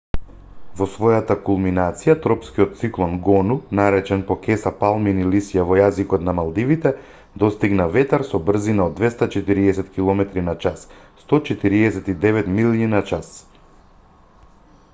во својата кулминација тропскиот циклон гону наречен по кеса палмини лисја во јазикот на малдивите достигна ветар со брзина од 240 километри на час 149 милји на час